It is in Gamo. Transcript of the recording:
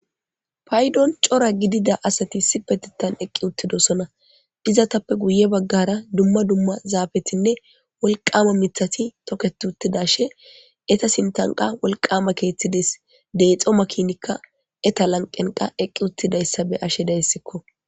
Paydon cora gidida asati sibetitan eqqi uttidosona dizatappe guye baggara dumma dumma zaabetinne wolqama mithati toketi uttidashe eta sintanqa wolqama keeththides deexo makinikka eta lanqenqa eqqi uttidayssa be ashedayssikko.